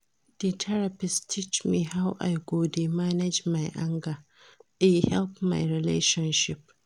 Di therapist teach me how I go dey manage my anger, e help my relationship.